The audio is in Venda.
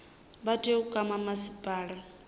vha tea u kwama masipala